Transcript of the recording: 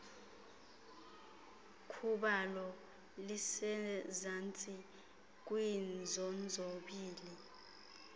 khubalo lisezantsi kwiinzonzobila